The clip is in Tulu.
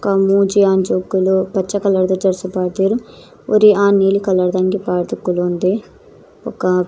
ಬೊಕ ಮೂಜಿ ಆಂಜೋಕುಲು ಪಚ್ಚೆ ಕಲರ್ದ ಡ್ರೆಸ್ಸ್ ಪಾಡ್ದೆರ್ ಒರಿ ಆನ್ ನೀಲಿ ಕಲರ್ದ ದ ಅಂಗಿ ಪಾಡ್ದ್ ಕುಲೊಂದೆ ಬೊಕ.